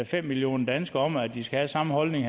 fem millioner danskere om at de skal have samme holdning